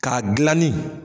K'a gilanin